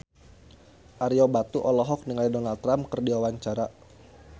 Ario Batu olohok ningali Donald Trump keur diwawancara